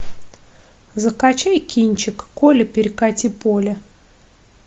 закачай кинчик коля перекати поле